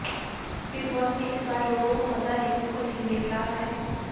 big Boss में इस बार लोगों को मजा देखने को नहीं मिल रहा है